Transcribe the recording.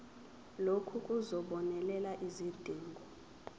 lokhu kuzobonelela izidingo